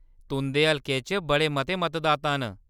तुंʼदे हलके च बड़े मते मतदाता न।